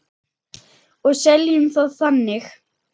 Og seljum það þannig.